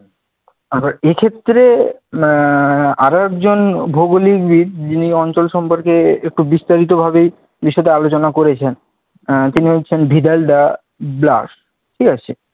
আবার এক্ষেত্রে আহ আরেকজন ভৌগলিকবিদ, যিনি অঞ্চল সম্পর্কে একটু বিস্তারিতভাবেই বিশদ এ আলোচনা করেছেন, আহ তিনি হচ্ছেন ভিদাইলদা ব্লাশ, ঠিক আছে?